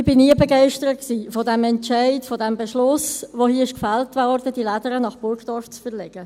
Ich war nie begeistert von diesem Entscheid, von diesem Beschluss, der hier gefällt wurde, die «Lädere» nach Burgdorf zu verlegen.